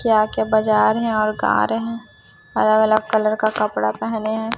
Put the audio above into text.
क्या क्या बजा रहे है और गा रहे हैं अलग अलग कलर का कपड़ा पेहने हैं।